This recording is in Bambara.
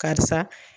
Karisa